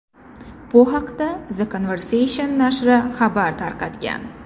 Bu haqda The Conversation nashri xabar tarqatgan .